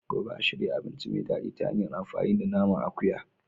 Gobe. a shirya abinci mai daɗi ta hanyar amfani da naman akuya.